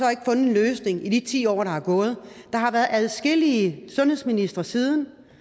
men i de ti år der er gået der har været adskillige sundhedsministre siden